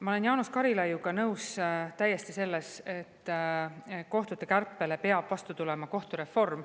Ma olen Jaanus Karilaiuga täiesti nõus, et kohtute kärpele peab vastu tulema kohtureform.